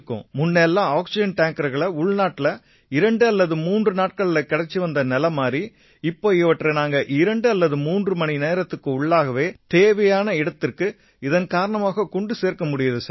முன்ன எல்லாம் ஆக்சிஜன் டேங்கர்கள் உள்நாட்டுல 2 அல்லது 3 நாட்கள்ல கிடைச்சு வந்த நிலை மாறி இப்ப இவற்றை நாங்க 2 அல்லது 3 மணி நேரத்துக்கு உள்ளாக தேவையான இன்னொரு இடத்துக்கு இதன் காரணமா கொண்டு சேர்க்க முடியுது சார்